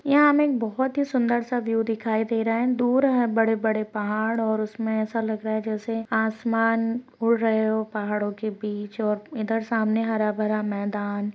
यहाँ हमे एक बहोत ही सुन्दर सा व्यू दिखाई दे रहा है दूर है बड़े बड़े पहाड़ और उसमे ऐसा लग रहा है जैसे आसमान उड़ रहे हो पहाड़ों के बीच और इधर सामने हरा भरा मैदान।